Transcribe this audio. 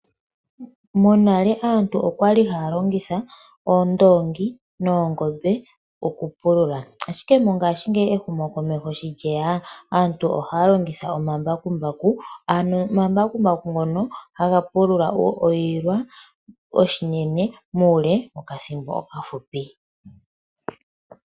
Monale aantu okwali haya longitha oondongi noongombe oku pulula ,ashike mongashingeyi ehumokomeho sho lyeya aantu ohaya longitha omambakumbaku ano omambakumbaku ngono haga pulula oshilwa oshinene muule woka thimbo okafupi.